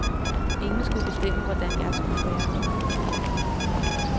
Ingen skulle bestemme, hvordan jeg skulle være.